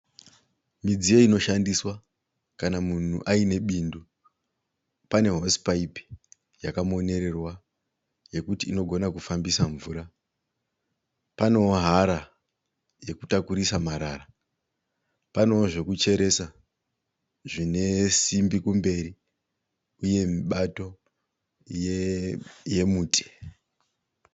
Midziyo inoshandiswa kana munhu aine bindu. Pane hosi paipi yakamonererwa yekuti inogona kufambisa mvura. Panewo hara yekutakurisa marara. Panewo zvekucheresa zvine simbi kumberi uye mibato yemuti.